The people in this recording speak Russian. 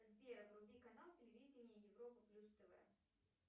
сбер вруби канал телевидение европа плюс тв